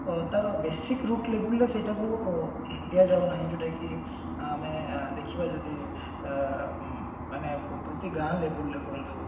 ତାର basic route label ରେ ସେଇଟାକୁ ଉଁ ଦିଆଯାଉ ନାହିନ ଯୋଉଟା କି ଆମେ ଦେଖିବା ଯଦି ଅ ମ ପ୍ରତି ଗାଁ label ରେ ହୁଅନ୍ତୁ